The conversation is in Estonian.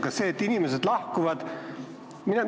Kas see, et inimesed lahkuvad?